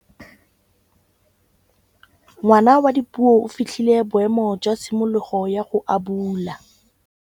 Ngwana wa Dipuo o fitlhile boêmô jwa tshimologô ya go abula.